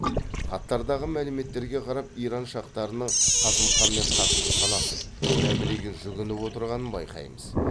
хаттардағы мәліметтерге қарап иран шахтарының қасым ханмен қатты санасып мәмілеге жүгініп отырғанын байқаймыз